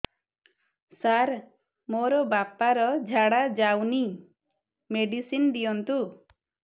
ସାର ମୋର ବାପା ର ଝାଡା ଯାଉନି ମେଡିସିନ ଦିଅନ୍ତୁ